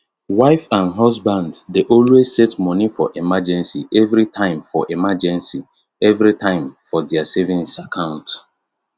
wife and husband dey always set moni for emergency everytime for emergency everytime for their savings account